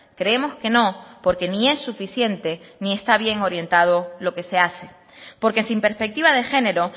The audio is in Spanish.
creemos que no porque ni es suficiente ni está bien orientado lo que se hace porque sin perspectiva de género